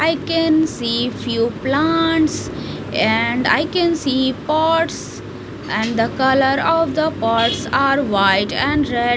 I can see few plants and I can see pots and the color of the pots are white and red .